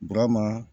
Burama